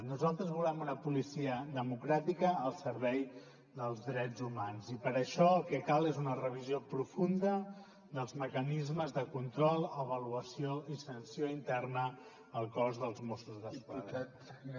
nosaltres volem una policia democràtica al servei dels drets humans i per això el que cal és una revisió profunda dels mecanismes de control avaluació i sanció interna al cos dels mossos d’esquadra